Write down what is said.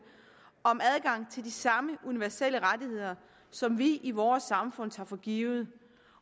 om adgang til de samme universelle rettigheder som vi i vores samfund tager for givet